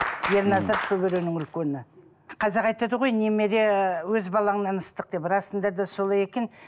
ерназар шөберенің үлкені қазақ айтады ғой немере өз балаңнан ыстық деп расында да солай екен